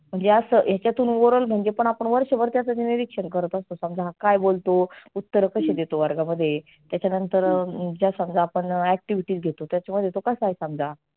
म्हणजे असं ह्याच्यातून oral म्हणजे आपण त्याच निरिक्षण करत असतो समजा हा काय बोलतो? उत्तर कसे देतो वर्गामध्ये? त्याच्या नंतर जर समजा आपण activities घेतो त्याच्यामध्ये तो कसा आहे समजा.